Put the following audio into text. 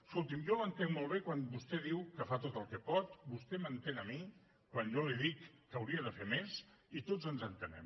escolti’m jo l’entenc molt bé quan vostè diu que fa tot el que pot vostè m’entén a mi quan jo li dic que hauria de fer més i tots ens entenem